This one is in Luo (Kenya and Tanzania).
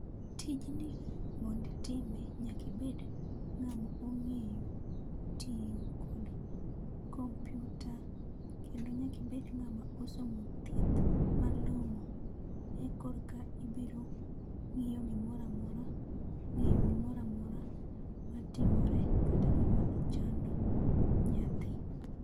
Tijni mondo itime nyaka ibed ng'at ma ong'eyo tiyo kod kompiuta, kendo nyaka ibed ng'ama osomo thieth malong'o. Eka koro eka ibiro ng'iyo gimoro amora, ng'eyo gimoro amora matimore kata gim a chando nyathi.